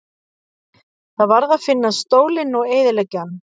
Það varð að finna stólinn og eyðileggja hann.